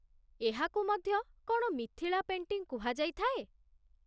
ଏହାକୁ ମଧ୍ୟ କ'ଣ ମିଥିଳା ପେଣ୍ଟିଂ କୁହାଯାଇଥାଏ ?